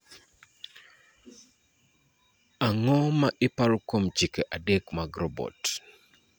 Ang�o ma iparo kuom chike adek mag robot?